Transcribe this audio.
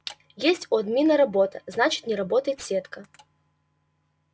если у админа есть работа значит не работает сетка